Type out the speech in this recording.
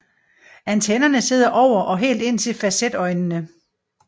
Antennerne sidder over og helt indtil fasetøjnene